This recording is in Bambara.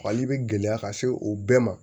Fali be gɛlɛya ka se o bɛɛ ma